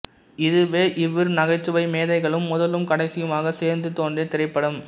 இதுவே இவ்விரு நகைச்சுவை மேதைகளும் முதலும் கடைசியுமாக சேர்ந்து தோன்றிய திரைப்படம்